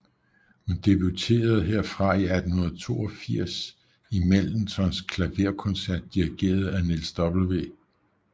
Hun debuterede herfra i 1882 i Mendelssohns klaverkoncert dirigeret af Niels W